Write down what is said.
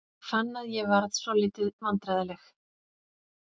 Ég fann að ég varð svolítið vandræðaleg.